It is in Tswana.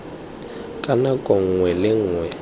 ka nako nngwe le nngwe